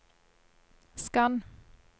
skann